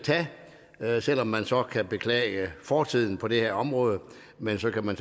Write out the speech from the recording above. tage selv om man så kan beklage fortiden på det her område men så kan man